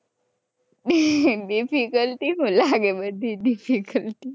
Difficulty તો લાગે બધી Difficulty